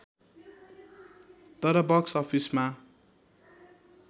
तर बक्स अफिसमा